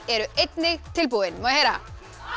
eru einnig tilbúin má ég heyra